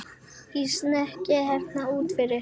Í snekkju hérna úti fyrir!